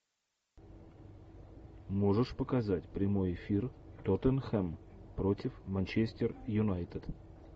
можешь показать прямой эфир тоттенхэм против манчестер юнайтед